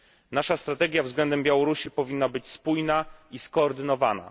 Nasza strategia względem Białorusi powinna być spójna i skoordynowana.